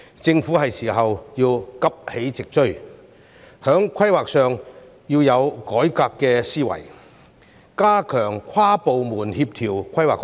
政府是時候急起直追，在規劃上要有改革思維，加強跨部門協調規劃工作。